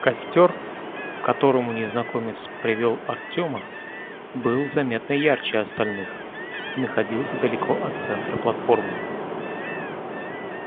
костёр к которому незнакомец привёл артема был заметно ярче остальных и находился далеко от центра платформы